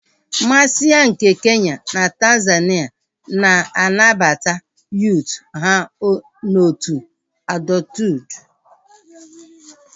Massai nke Kenya na Tanzania na-arabata yuut ha n'otu adọthuud